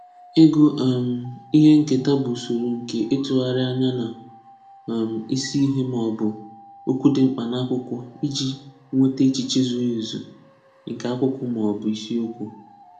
Ịgụ um ihe nketa bụ usoro nke ịtụgharị anya na um isi ihe maọbụ okwu dị mkpa n’akwụkwọ iji nweta echiche zuru ezu nke akwụkwọ ma ọ bụ isiokwu.